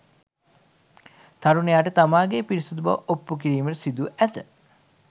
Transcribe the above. තරුණයාට තමාගේ පිරිසිදු බව ඔප්පු කිරීමට සිදු ව ඇත